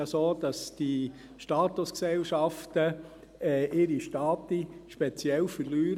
Ab 2020 verlieren die Statusgesellschaften ihren speziellen Status.